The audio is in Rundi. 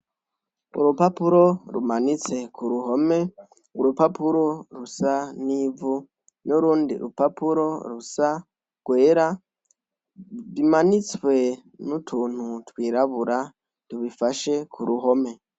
Urupapuro rumanitse ku ruhome, urupapuro rusa n'ivu, n'urundi rupapuro rusa, rwera, bimanitswe n'utuntu twirabura tubifashe ku ruhome